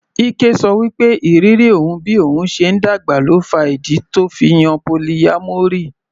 Ike ṣọ wí pé ìrírí òun bí òun ṣe ń dàgbà ló fa ìdí tó fi yan polyamory.